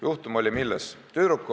Juhtum seisnes milles?